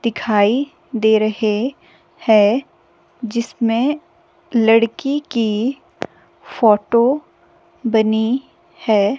दिखाई दे रहे हैं जिसमें लड़की की फोटो बनी है।